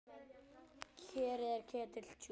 Kerið er ketill djúpur.